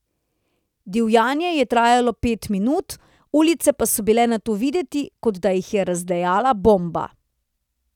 Divjanje je trajalo pet minut, ulice pa so bile nato videti, kot da jih je razdejala bomba.